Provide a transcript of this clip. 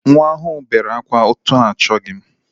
Nwa ahụ bere akwa etu m achọghi.